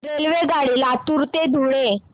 रेल्वेगाडी लातूर ते धुळे